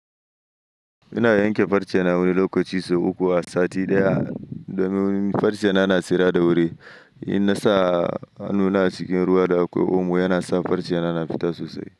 Ina yanke farce na wani lokaci sau uku a sati ɗaya domin farce na na tsira da wuri. In na sa hannuna cikin ruwa da akwai omo yana sa farce na yana fita sosai.